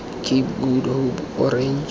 cape of good hope orange